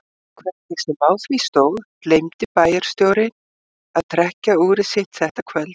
Hvernig sem á því stóð gleymdi bæjarstjórinn að trekkja úrið sitt þetta kvöld.